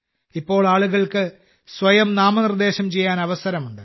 ഇപ്പോൾ ആളുകൾക്ക് സ്വയം നാമനിർദ്ദേശം ചെയ്യാൻ അവസരമുണ്ട്